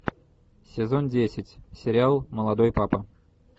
сезон десять сериал молодой папа